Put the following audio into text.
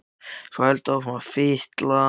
Og heldur svo áfram að fitla.